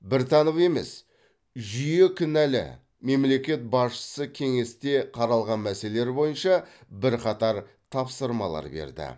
біртанов емес жүйе кінәлі мемлекет басшысы кеңесте қаралған мәселелер бойынша бірқатар тапсырмалар берді